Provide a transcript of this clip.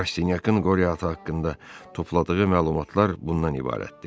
Rastenyakın qoryata haqqında topladığı məlumatlar bundan ibarətdir.